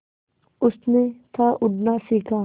उसने था उड़ना सिखा